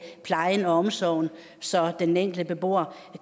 plejen og omsorgen så den enkelte beboer